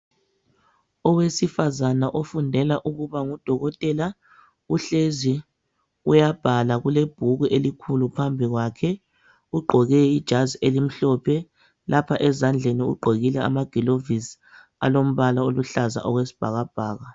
Owesifazana ofundela ukuba ngudokotela uhlezi uyabhala kulebhuku elikhulu phambi kwakhe ugqoke ijazi elimhlophe lapha ezandleni ugqokile amagilavisi alombala oluhlaza okwesibhakabhaka.